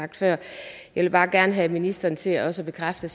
sagt før jeg vil bare gerne have ministeren til også at bekræfte